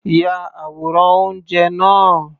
Ya àwòrán oúnjẹ náà.